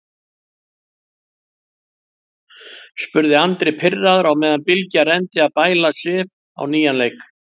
spurði Andri pirraður á meðan Bylgja reyndi að bæla Sif á nýjan leik.